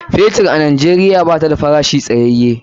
Fetur a Najeriya bata da farashi tsayaye.